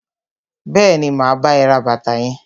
Bẹẹni, ma bá ẹ ra bàtà yẹn.